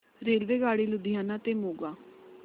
रेल्वेगाडी लुधियाना ते मोगा